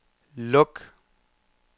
luk